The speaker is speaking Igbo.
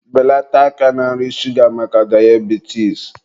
Beleta aka na nri shuga maka dayabitis!